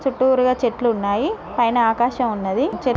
చుట్టూరు గ చెట్లు ఉన్నాయ్ పైన ఆకాశం ఉన్నది చె --